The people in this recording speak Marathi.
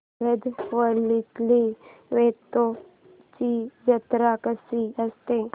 आरवलीतील वेतोबाची जत्रा कशी असते